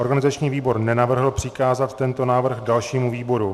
Organizační výbor nenavrhl přikázat tento návrh dalšímu výboru.